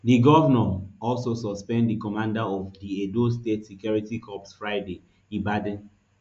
di govnor also suspend di commander of di edo state security corps friday ibadin